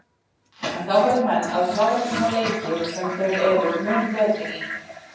En þá verða menn að klára svona leiki sem þeir eru mun betri í?